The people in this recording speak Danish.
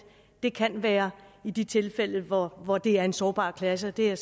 det kan være i de tilfælde hvor hvor det er en sårbar klasse og det er